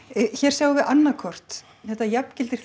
sjáum við annað kort þetta jafngildir